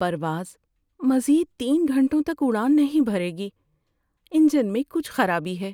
پرواز مزید تین گھنٹوں تک اڑان نہیں بھرے گی۔ انجن میں کچھ خرابی ہے۔